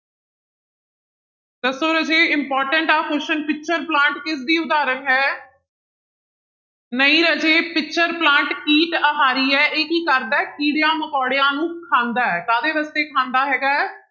ਦੱਸੋ ਰਾਜੇ important ਆਂ question ਪਿਚਰ ਪਲਾਂਟ ਕਿਸਦੀ ਉਦਾਹਰਣ ਹੈ ਨਹੀਂ ਰਾਜੇ ਪਿਚਰ ਪਲਾਂਟ ਕੀਟ ਆਹਾਰੀ ਹੈ ਇਹ ਕੀ ਕਰਦਾ ਹੈ ਕੀੜਿਆਂ ਮਕੋੜਿਆਂ ਨੂੰ ਖਾਂਦਾ ਹੈ, ਕਾਹਦੇ ਵਾਸਤੇ ਖਾਂਦਾ ਹੈਗਾ ਹੈ,